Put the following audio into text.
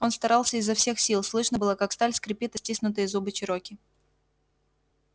он старался изо всех сил слышно было как сталь скрипит о стиснутые зубы чероки